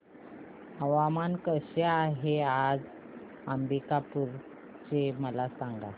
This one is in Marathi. हवामान कसे आहे आज अंबिकापूर चे मला सांगा